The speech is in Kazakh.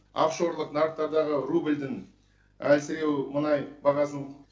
офшорлық нарықтардағы рубльдің әлсіреуі мұнай бағасының